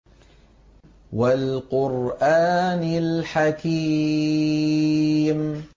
وَالْقُرْآنِ الْحَكِيمِ